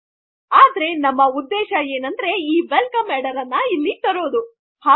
ಆದರೆ ನಮ್ಮ ಉದ್ದೇಶ ಏನಂದರೆ ಈ ವೆಲ್ಕಮ್ ಹೆಡ್ಡರ್ ಅನ್ನು ಇಲ್ಲಿ ತರಳು